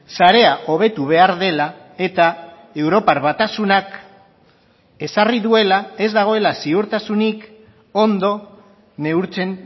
sarea hobetu behar dela eta europar batasunak ezarri duela ez dagoela ziurtasunik ondo neurtzen